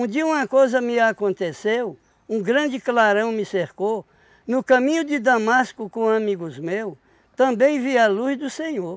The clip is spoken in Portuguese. dia uma coisa me aconteceu, um grande clarão me cercou, no caminho de Damasco com amigos meu, também vi a luz do Senhor.